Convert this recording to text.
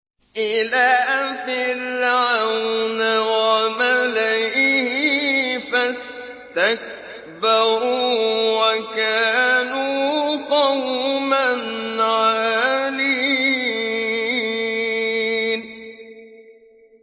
إِلَىٰ فِرْعَوْنَ وَمَلَئِهِ فَاسْتَكْبَرُوا وَكَانُوا قَوْمًا عَالِينَ